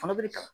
Fana bɛ kalan